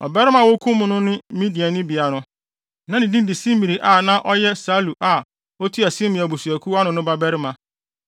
Ɔbarima a wokum no ne Midiani bea no, na ne din de Simri a na ɔyɛ Salu a otua Simeon abusuakuw ano no babarima.